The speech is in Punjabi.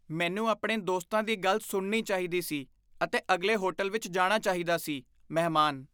ਮੈਨੂੰ ਆਪਣੇ ਦੋਸਤਾਂ ਦੀ ਗੱਲ ਸੁਣਨੀ ਚਾਹੀਦੀ ਸੀ ਅਤੇ ਅਗਲੇ ਹੋਟਲ ਵਿੱਚ ਜਾਣਾ ਚਾਹੀਦਾ ਸੀ ਮਹਿਮਾਨ